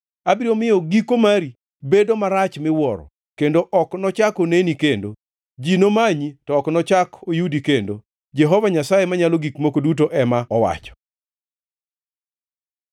Abiro miyo giko mari bedo marach miwuoro, kendo ok nochak oneni kendo. Ji nomanyi, to ok nochak oyudi kendo, Jehova Nyasaye Manyalo Gik Moko Duto ema owacho.”